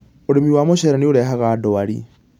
Ũrĩmi wa mũcere nĩũrehaga ndwari